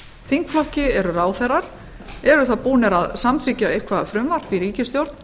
þingflokki eru ráðherrar eru þá búnir að samþykkja eitthvert frumvarp í ríkisstjórn